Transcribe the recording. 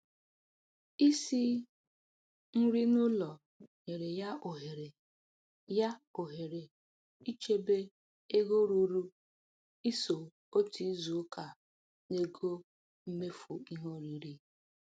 Isi nri n'ụlọ nyere ya ohere ya ohere ichebe ego ruru & iso otu izu ụka n'ego mmefu ihe oriri.